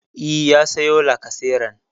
E, ya sayo lacaseran.